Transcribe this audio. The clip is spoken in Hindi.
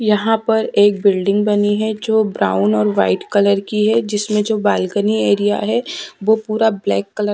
यहाँ पर एक बिल्डिंग बनी है जो ब्राउन और वाइट कलर की है जिसमे जो बालकनी एरिया वो पूरा ब्लैक --